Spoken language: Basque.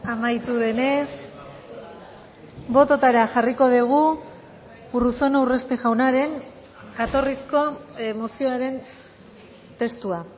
amaitu denez bototara jarriko dugu urruzuno urresti jaunaren jatorrizko mozioaren testua